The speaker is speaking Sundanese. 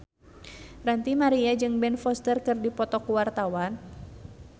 Ranty Maria jeung Ben Foster keur dipoto ku wartawan